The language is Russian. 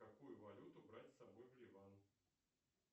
какую валюту брать с собой в ливан